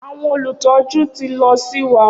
Awọn olutọju ti lọ si wa.